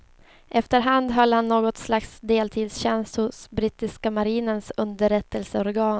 Efter hand höll han något slags deltidstjänst hos brittiska marinens underrättelseorgan.